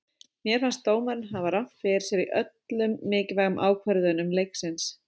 Mér fannst dómarinn hafa rangt fyrir sér í öllum mikilvægu ákvörðunum leiksins.